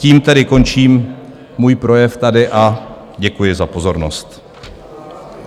Tím tedy končím můj projev tady a děkuji za pozornost.